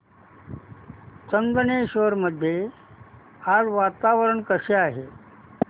चंदनेश्वर मध्ये आज वातावरण कसे आहे